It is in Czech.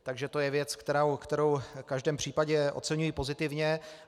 Takže to je věc, kterou v každém případě oceňuji pozitivně.